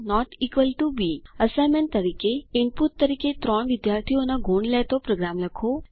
a160 B assignment તરીકે input તરીકે ત્રણ વિદ્યાર્થીઓને ગુણ લેતો પ્રોગ્રામ લખો